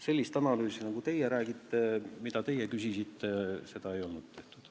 Sellist analüüsi, mille kohta teie küsisite, ei ole tehtud.